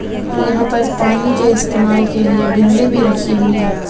और यहां पर पानी के इस्तेमाल के लिए बिंदली भी रखी हुई है.